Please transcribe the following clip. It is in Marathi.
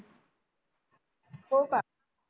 हो का